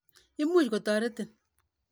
Imuch kotoret ni.